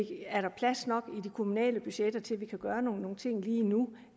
er der plads nok i de kommunale budgetter til at vi kan gøre nogle ting lige nu